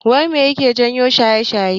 Wai mai yake jawo shaye-shaye?